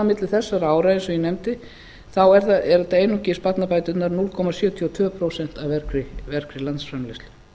milli þessara ára eins og ég nefndi þá eru þetta einungis barnabæturnar núll komma sjötíu og tvö prósent af vergri landsframleiðslu